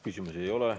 Küsimusi ei ole.